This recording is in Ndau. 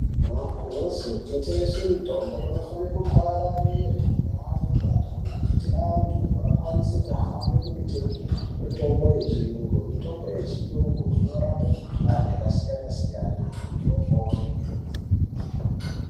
Magirosa kunotengeswe mitombo kunofane kapararire mundau nemumagange kuti antu akwanise kuhambe kunotenge mitombo yechiyungu. Mitombo yechiyungu inorape mikuhlani yakasiyana siyana antu opore.